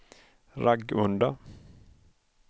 Ragunda